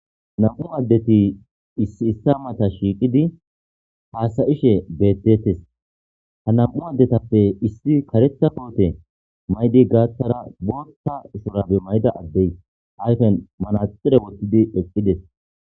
nam7u addeti issi issa mata shiiqidi haasayishe beettettes ha nam7u addetappe issi karetha koote maydi gaatara bootta usorabe mayda addey hayfen manaxire wottidi eqqides